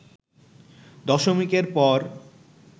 দশমিকের পর